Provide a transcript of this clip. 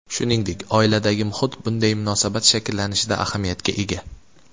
Shuningdek, oiladagi muhit bunday munosabat shakllanishida ahamiyatga ega.